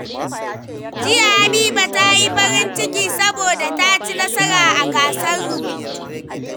Jiya, Habiba ta yi farin ciki saboda ta ci nasara a gasar rubutu.